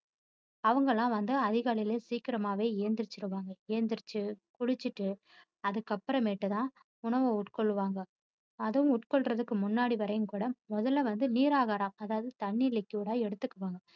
அவங்கல்லாம் வந்து அதிகாலைல சீக்கிரமாவே எழுந்திருச்சுவாங்க எழுந்திருச்சு குளிச்சிட்டு அதுக்கப்பறமேட்டு தான் உணவு உட்கொள்ளுவாங்க அதுவும் உட்கொள்றதுக்கு முன்னாடி வரையும் கூட முதல்ல வந்து நீராகாரம் அதாவது தண்ணீர் liquid ஆ எடுத்துக்குவாங்க.